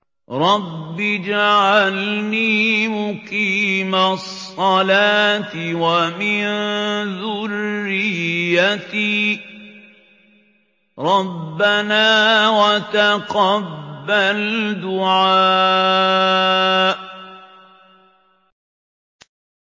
رَبِّ اجْعَلْنِي مُقِيمَ الصَّلَاةِ وَمِن ذُرِّيَّتِي ۚ رَبَّنَا وَتَقَبَّلْ دُعَاءِ